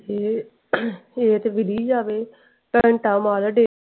ਤੇ ਅਹ ਇਹ ਤੇ ਵਿੱਲੀ ਜਾਵੇ .